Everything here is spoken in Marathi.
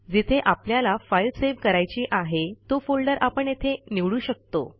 जिथे आपल्याला फाईल सेव्ह करायची आहे तो फोल्डर आपण येथे निवडू शकतो